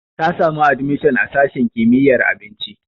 Ta samu admishon a sashin kimiyyar abinci.